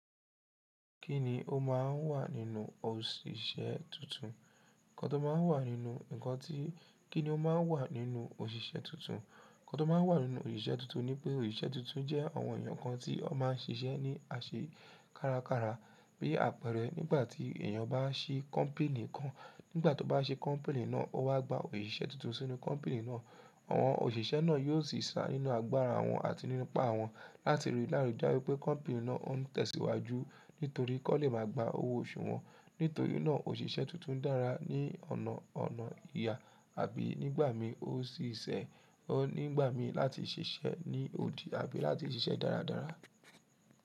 Kí ni o máà ń wà nínú òṣìṣẹ́ tuntun? Nǹkan tó máa ń wà nínú, nǹkan tí, kí ni o máa ń wà nínú òṣìṣẹ́ tuntun? Nǹkan tó máa ń wà nínú òṣìṣẹ́ tuntun ni pé òṣìṣẹ́ tuntun jẹ́ àwọn èèyàn kan tí wọ́n máa ń ṣiṣẹ́ ní àṣẹ kárakára. Bí àpẹẹrẹ nígbà tí èèyàn bá ṣí kọ́mpẹ́nì kan, nígbà tó bá ṣe kọ́mpẹ́nì náà, ó wá gba òṣìṣẹ́ tuntun sínú kọ́mpẹ́nì náà. Àwọn òṣìṣẹ́ náà yóò sì sá nínú agbára wọn àti nínú ipá wọn láti rí lárugẹdẹ wípé kọ́mpẹ́nì náà ó ń tẹ̀síwájú nítorí kó lè máa gba owó oṣù wọn. Nítorí náà òṣìṣẹ́ tuntun dára ní ọ̀nà ọ̀nà ìyà àbí nígbà mí ó sì ṣẹ nígbà mí láti ṣiṣẹ́ ní odi àbí láti ṣiṣẹ́ dáradára.